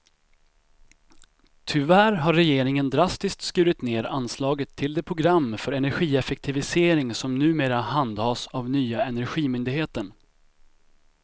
Tyvärr har regeringen drastiskt skurit ned anslaget till det program för energieffektivisering som numera handhas av nya energimyndigheten.